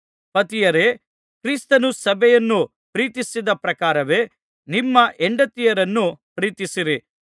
ಪತಿಯರೇ ಕ್ರಿಸ್ತನು ಸಭೆಯನ್ನು ಪ್ರೀತಿಸಿದ ಪ್ರಕಾರವೇ ನಿಮ್ಮ ಹೆಂಡತಿಯರನ್ನು ಪ್ರೀತಿಸಿರಿ